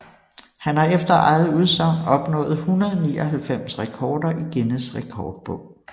Han har efter eget udsagn opnået 199 rekorder i Guinness Rekordbog